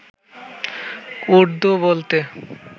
উর্দু বলতে